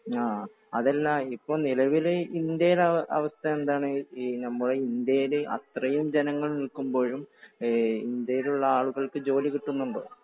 ആ. അതല്ല ഇപ്പോ നിലവിൽ ഇന്ത്യയുടെ അവസ്ഥ എന്താണ്? നമ്മുടെ ഇന്ത്യയിൽ അത്രയും ജനങ്ങൾ നിൽക്കുമ്പോഴും ഇന്ത്യയിലുള്ള ആളുകൾക്ക് ജോലി കിട്ടുന്നുണ്ടോ?